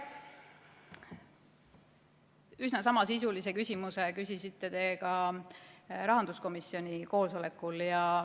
Üsna samasisulise küsimuse küsisite te ka rahanduskomisjoni koosolekul.